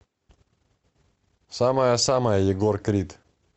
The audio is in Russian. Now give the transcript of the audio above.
самая самая егор крид